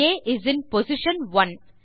ah is in position 1